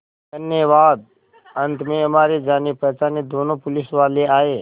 धन्यवाद अंत में हमारे जानेपहचाने दोनों पुलिसवाले आए